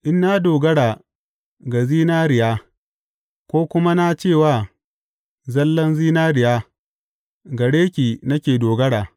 In na dogara ga zinariya ko kuma na ce wa zallan zinariya, Gare ki nake dogara,’